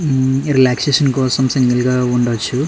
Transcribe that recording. మ్మ్ relaxation కోసమ్ single గా ఉండచ్చు.